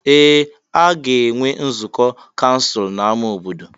Ee! A ga-enwe nzukọ kansụl n'ámá obodo.